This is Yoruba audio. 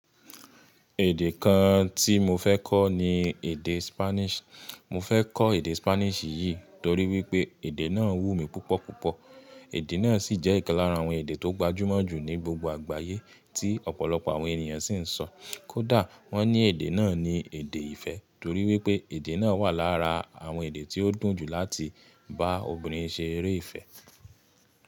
Èdè kan tí mo fẹ́ kọ́ ni èdè Spanish. Mo fẹ́ kọ́ èdè Spanish yìí torí wípé èdè náà wú mi púpọ̀ púpọ̀. Èdè náà sì jẹ́ ìkan lára àwọn èdè tó gbajúmọ̀ jù ní gbogbo àgbáyé tí ọ̀pọ̀lọpọ̀ àwọn ènìyàn sì ń sọ. Kódà wọ́n ní èdè náà ni èdè ìfẹ́ torí wípé èdè náà wà lára àwọn èdè tí ó dùn jù láti bá obìnrin ṣe eré ìfẹ́.